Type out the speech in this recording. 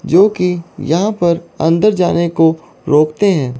जोकि यहाॅं पर अंदर जाने को रोकते हैं।